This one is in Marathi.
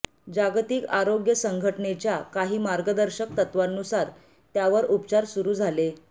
जागतिक आरोग्य संघटनेच्या काही मार्गदर्शक तत्वांनुसार त्यावर उपचार सुरू झाले